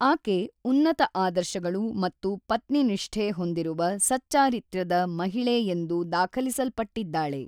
ಆಕೆ ಉನ್ನತ ಆದರ್ಶಗಳು ಮತ್ತು ಪತ್ನಿನಿಷ್ಠೆ ಹೊಂದಿರುವ ಸಚ್ಚಾರಿತ್ರ್ಯದ ಮಹಿಳೆ ಎಂದು ದಾಖಲಿಸಲ್ಪಟ್ಟಿದ್ದಾಳೆ.